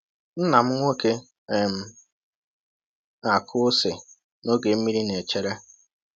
Nna m nwoke um na-akụ ose n’oge mmiri na-echere.